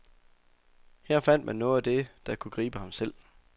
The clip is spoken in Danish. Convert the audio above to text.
Her fandt man noget af det, der kunne gribe ham selv.